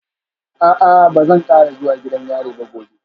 A'a ba zan kara zuwa gidan yari ba gobe